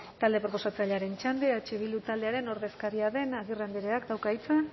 talde proposatzailearen txanda eh bildu taldearen ordezkaria den agirre andreak dauka hitza